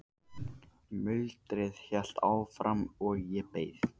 Muldrið hélt áfram og ég beið.